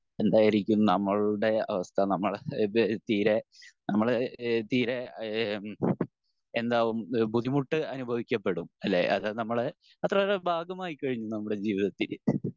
എന്തായിരിക്കും നമ്മളുടെ അവസ്ഥ നമ്മൾ ഇത് തീരെ നമ്മള് ഇഹ് തീരെ ഏഹ് എന്താവും ബുദ്ധിമുട്ട് അനുഭവിക്കപ്പെടും അല്ലെ അതായത് നമ്മള് അത്രയേറെ ഭാഗം ആയി കഴിഞ്ഞു നമ്മുടെ ജീവിതത്തിൽ